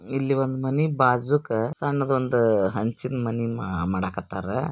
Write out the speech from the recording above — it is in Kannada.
ಇಲ್ಲಿ ಒಂದು ಮ್ಯಾನ್ ಬಾಜೂಕ ಸ್ಯಾನ್ ದೊಂದು ಮಣಿ ಮಾಡಾಕತ್ತಾರ.